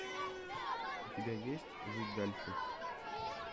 у тебя есть жить дальше